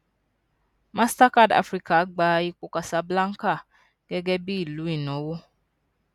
mastercard africa gba ipò casablanca gẹgẹ bí ìlú ìnáwó